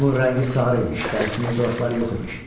Onun rəngi sarı imiş, dərisində zolaqlar yox imiş.